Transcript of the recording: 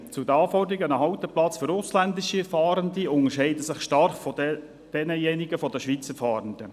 Zu den Anforderungen: Ein Halteplatz für ausländische Fahrende unterscheidet sich stark von denjenigen für Schweizer Fahrende.